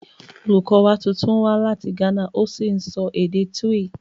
Olùkọ́ wa tuntun wá láti Ghana ó sì ń sọ èdè Twi